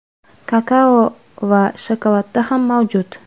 kakao va shokoladda ham mavjud.